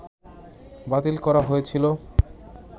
বাতিল করা হয়েছিল